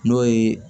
N'o ye